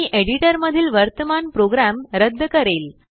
मी editor मधील वर्तमान program रद्द करेल